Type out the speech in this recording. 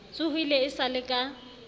tsohile e sa le ka